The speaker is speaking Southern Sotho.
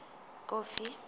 kofi